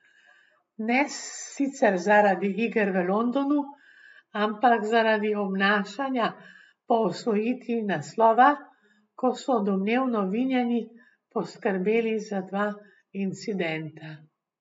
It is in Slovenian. Ne sicer zaradi iger v Londonu, ampak zaradi obnašanja po osvojitvi naslova, ko so domnevno vinjeni poskrbeli za dva incidenta.